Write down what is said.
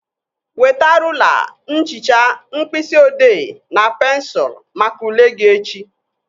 Weta rụla, nchicha, mkpịsị odee na pensụl maka ule gị echi